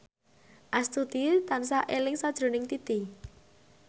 Astuti tansah eling sakjroning Titi